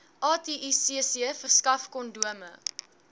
aticc verskaf kondome